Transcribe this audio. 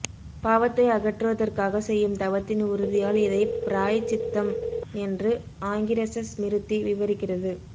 பாவத்தை அகற்றுவதற்காகச் செய்யும் தவத்தின் உறுதியால் இதைப் பிராயச்சித்தம் என்று ஆங்கீரச ஸ்மிருதி விவரிக்கிறது